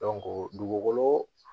dugukolo